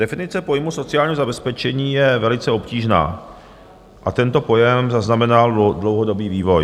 Definice pojmu sociálního zabezpečení je velice obtížná a tento pojem zaznamenal dlouhodobý vývoj.